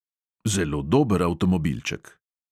Zelo dober avtomobilček.